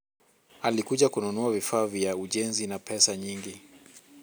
alikuja kununua vifaa vya ujenzi na pesa nyingi